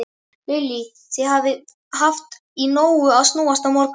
Lillý: Þið hafið haft í nógu að snúast í morgun?